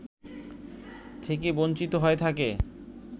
থেকে বঞ্চিত হয়ে থাকে